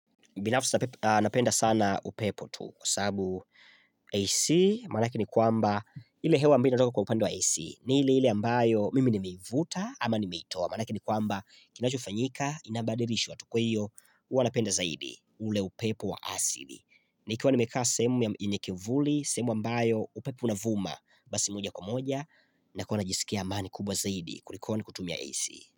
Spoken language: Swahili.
Binafsi napenda sana upepo tu, kwa sababu, AC, maanake ni kwamba ile hewa ambayo inatoka kwa upande wa AC, ni ile ile ambayo, mimi nimeivuta ama nimeitoa, manake ni kwamba kinachofanyika, ina badirishwa tu kwa hiyo, huwa napenda zaidi ule upepo wa asili. Nikiwa nimekaa sehemu yenye kivuli, sehemu ambayo, upepo unavuma basi moja kwa moja nakuwa najisikia amani kubwa zaidi kulikoni kutumia AC.